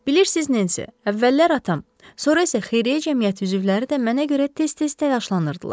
Bilirsiniz, Nensi, əvvəllər atam, sonra isə xeyriyyə cəmiyyəti üzvləri də mənə görə tez-tez təlaşlanırdılar.